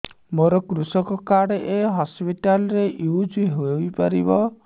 ମୋର କୃଷକ କାର୍ଡ ଏ ହସପିଟାଲ ରେ ୟୁଜ଼ ହୋଇପାରିବ